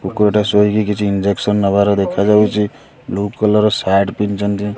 କୁକୁରଟେ ଶୋଇଚି କିଛି ଇଞ୍ଜେସନ୍ ନବାର୍ ଦେଖାଯାଉଚି ବ୍ଲୁ କଲର୍ ର ସାର୍ଟ ପିନ୍ଧିଚନ୍ତି।